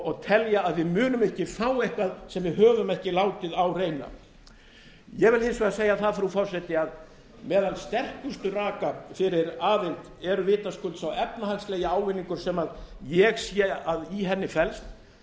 og telja að við munum ekki fá eitthvað sem við höfum ekki látið á reyna ég vil hins vegar segja það frú forseti að meðal sterkustu raka fyrir aðild vitaskuld sá efnahagslegi ávinningur sem ég sé að í henni felst